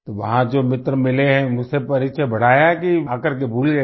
तो वहां जो मित्र मिले हैं उनसे परिचय बढ़ाया कि आकर के भूल गए